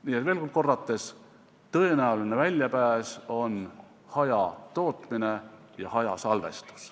Nii et veel kord: tõenäoline väljapääs on hajatootmine ja hajasalvestus.